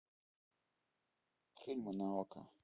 фильмы на окко